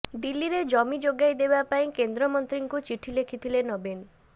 ଦିଲ୍ଲୀରେ ଜମି ଯୋଗାଇ ଦେବା ପାଇଁ କେନ୍ଦ୍ରମନ୍ତ୍ରୀଙ୍କୁ ଚିଠି ଲେଖିଲେ ନବୀନ